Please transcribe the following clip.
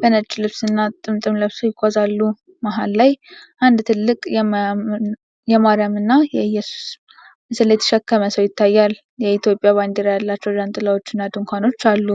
በነጭ ልብስና ጥምጣም ለብሰው ይጓዛሉ። መሃል ላይ አንድ ትልቅ የማርያምና የኢየሱስ ምስል የተሸከመ ሰው ይታያል፤ የኢትዮጵያ ባንዲራ ያላቸው ዣንጥላዎችና ድንኳን አሉ።